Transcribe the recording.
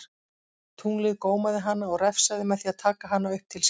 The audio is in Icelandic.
Tunglið gómaði hana og refsaði með því að taka hana upp til sín.